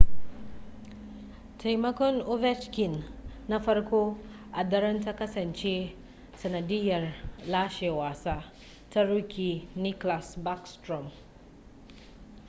taimakon ovechkin na farko a daren ta kasance sanadiyar lashe wasa ta rookie nicklas backstrom